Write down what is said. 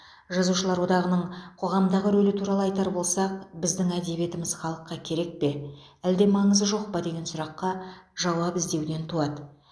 жазушылар одағының қоғамдағы рөлі туралы айтар болсақ біздің әдебиетіміз халыққа керек пе әлде маңызы жоқ па деген сұраққа жауап іздеуден туады